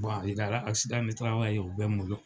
ani kɛra ye o be n bolo.